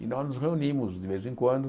E nós nos reunimos de vez em quando.